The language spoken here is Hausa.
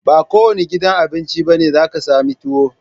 Ba kowanne gidan Abinci bane zaka sami tuwo